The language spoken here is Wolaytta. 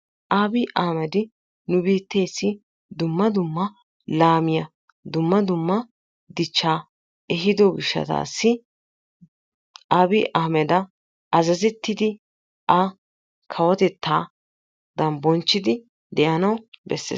Abi Ahmedi nu biitteessi dumma dumma laamiya, dumma dumma dichchaa ehiiddo gishshatassi Abi Ahmeda azzaettidi a kawotettaadan bonchchidi de'anawu beessees.